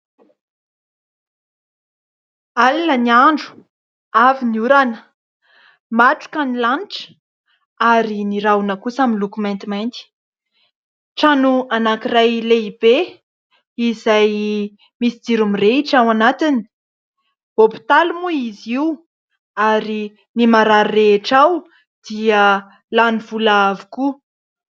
Alina ny andro, avy ny orana, matroka ny lanitra ary ny rahona kosa miloko maintimainty. Trano anankiray lehibe izay misy jiro mirehitra ao anatiny, hopitaly moa izy io ary ny marary rehetra ao dia lany vola avokoa.